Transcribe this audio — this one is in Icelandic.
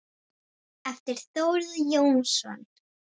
eftir Þórð Jónsson